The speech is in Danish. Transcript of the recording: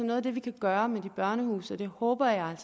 noget af det vi kan gøre med de børnehuse og det håber jeg